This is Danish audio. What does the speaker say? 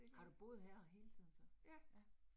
Har du boet her hele tiden så? Ja